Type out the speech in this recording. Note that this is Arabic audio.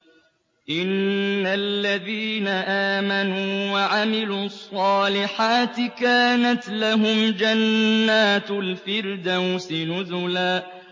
إِنَّ الَّذِينَ آمَنُوا وَعَمِلُوا الصَّالِحَاتِ كَانَتْ لَهُمْ جَنَّاتُ الْفِرْدَوْسِ نُزُلًا